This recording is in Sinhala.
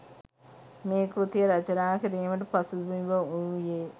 මේ කෘතිය රචනා කිරීමට පසු බිම් වූයේ